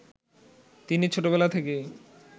তিনি ছোটবেলা থেকেই